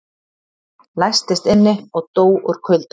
Læstist inni og dó úr kulda